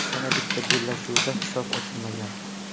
Yana bitta bellashuvda hisob ochilmagan.